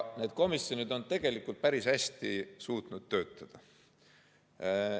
Need komisjonid on tegelikult suutnud päris hästi töötada.